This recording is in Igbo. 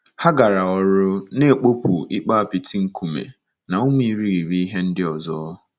Ha gara ọrụ, na-ekpopụ ikpo apịtị, nkume, na ụmụ irighiri ihe ndị ọzọ.